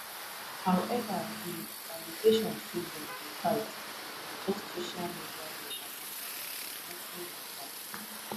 however di allegation say dem dey fight na just social media propaganda notin like dat